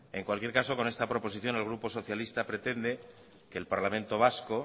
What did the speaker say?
en cualquier caso con esta proposición el grupo socialista pretende que el parlamento vasco